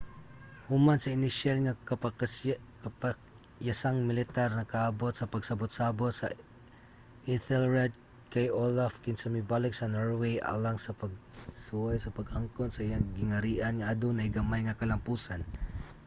human sa inisyal nga kapakyasang militar nakaabot sa pagsabot-sabot si ethelred kay olaf kinsa mibalik sa norway alang sa pagsuway sa pag-angkon sa iyang gingharian nga adunay gamay nga kalampusan